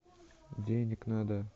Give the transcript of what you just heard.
денег надо